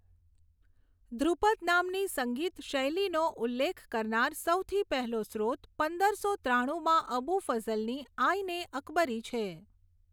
ધ્રુપદ નામની સંગીત શૈલીનો ઉલ્લેખ કરનાર સૌથી પહેલો સ્રોત પંદરસો ત્રાણુમાં અબુ ફઝલની આઈન એ અકબરી છે.